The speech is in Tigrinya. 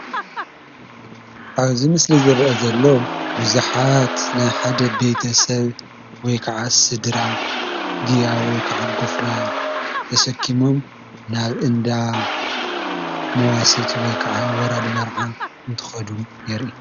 ኣብዚ መስሊ ዝረአ ዘሎ ብዙሓት ናይ ሓደ ቤተ ሰብ ወይከዓ ስድራ ግያ ወይከዓ ጎፈላ ተሰኪሞም ናብ እንዳ መዋስብቲ ወይከዓ ወራዲ መርዓ እንትኸዱ የረኢ።